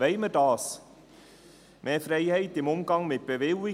Wollen wir dies: Mehr Freiheit im Umgang mit Bewilligungen?